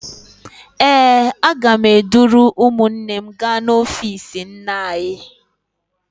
Ee, aga m eduru ụmụnne m gaa n'ọfiisi nne anyị.